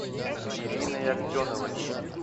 ириной аксеновой